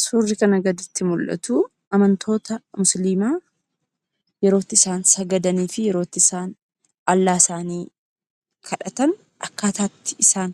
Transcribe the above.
Suurri kana gaditti mul'atu amantoota musliimaa yeroo itti isaan sagadaniifi yerootti isaan "Allah" isaanii kadhatan; akkaataa itti isaa